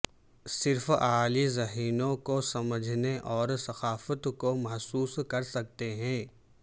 صرف اعلی ذہنوں کو سمجھنے اور ثقافت کو محسوس کر سکتے ہیں